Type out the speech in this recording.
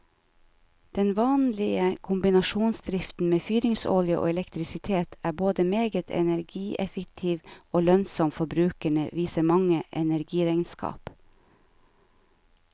Den vanlige kombinasjonsdriften med fyringsolje og elektrisitet er både meget energieffektiv og lønnsom for brukerne, viser mange energiregnskap.